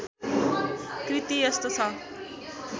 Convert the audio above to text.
कृति यस्तो छ